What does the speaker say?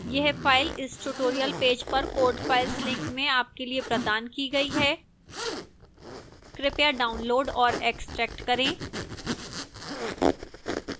यह file इस tutorial page पर code files link में आपके लिए प्रदान की गई है कृपया डाउनलोड और एक्स्ट्रैक्ट करें